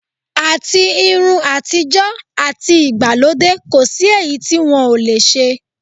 Àti irun àtijọ́, àti ìgbàlódé, kò sí èyí tí wọ́n ò le ṣe.